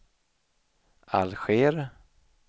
Alger